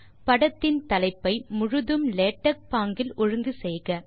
படத்தின் தலைப்பை முழுதும் லேடக் பாங்கில் ஒழுங்கு செய்க